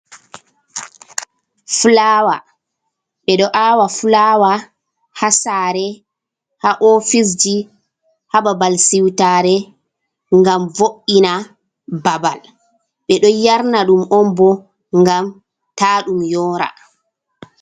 Fulawa: Ɓeɗo awa fulawa haa sare, haa ofisji, haa babal siwtare gam vo'ina babal. Ɓeɗo yarna ɗum on bo ngam ta ɗum yora.